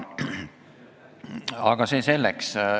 Aga see selleks.